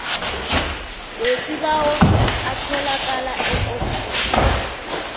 wesibawo atholakala eofisini